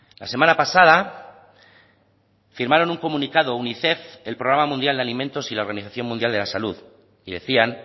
la semana pasada firmaron un comunicado unicef el programa mundial de alimentos y la organización mundial de la salud y decían